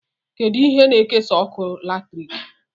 Kedụ ihe na-ekesa ọkụ latriki?